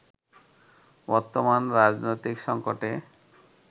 বর্তমান রাজনৈতিক সংকটে